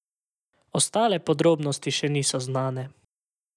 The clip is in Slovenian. Ostale podrobnosti še niso znane.